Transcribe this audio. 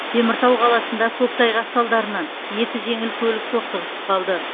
теміртау қаласында көктайғақ салдарынан екі жеңіл көлік соқтығысып қалды